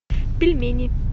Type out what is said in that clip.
пельмени